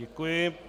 Děkuji.